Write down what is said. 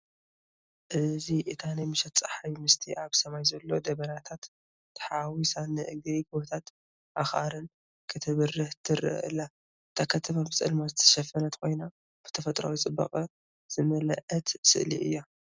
እዚ እታ ናይ ምሸት ጸሓይ ምስቲ ኣብ ሰማይ ዘሎ ደበናታት ተሓዋዊሳ ንእግሪ ጎቦታት ኣኽራን ክትበርህ ትረአ ኣላ። እታ ከተማ ብጸልማት ዝተሸፈነት ኮይና፡ ብተፈጥሮኣዊ ጽባቐ ዝመልአት ስእሊ እያ።